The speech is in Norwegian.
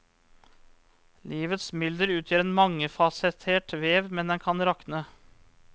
Livets mylder utgjør en mangefasettert vev, men den kan rakne.